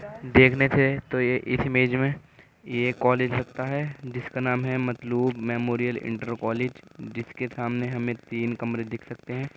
देखने से तो ये इस इमेज में ये एक कॉलेज लगता है जिसका नाम है Matloob Mahmood memorial inter college जिसके सामने हमें तीन कमरे दिख सकते हैं।